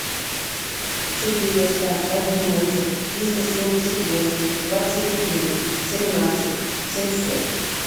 четыреста одиннадцать триста семьдесят восемь двадцать один семнадцать семьсот